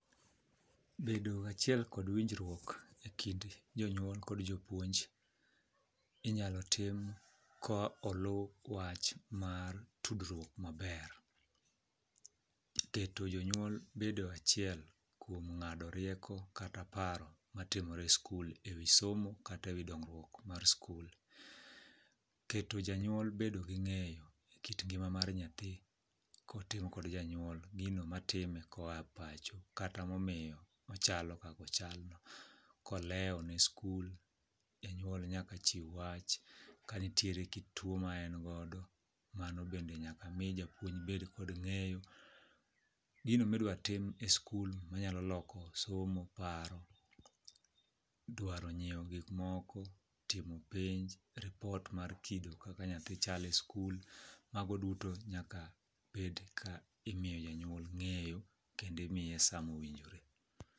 Bedo gachiel kod winjruok e kind jonyuol kod jopuonj inyalo tim ka olu wach mar tudruok maber. Iketo jonyuol bedo achiel kuom ng'ado rieko kata paro matimore e skul e wi somo kata e wi dongruok mar skul. Keto janyuol bedo gi ng'eyo e kit ngima mar nyathi kotim kod janyuol gino matime koa pacho kata mamiyo ochal kakochalno, kolewo ne skul janyuol nyaka chiw wach, kanitiere kit tuo ma en godo mano bende nyaka mi japuonj bed kod ng'eyo. Gino midwatim e skul manyalo loko somo, paro, dwaro nyieo gikmoko, timo penj, ripot mar kido kaka nyathi chal e skul mago duto nyaka bedka imiyo janyuol ng'eyo kendo imiye samowinjore.